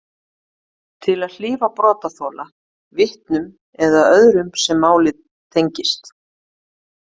Til að hlífa brotaþola, vitnum eða öðrum sem málið tengist.